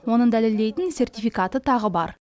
оны дәлелдейтін сертификаты тағы бар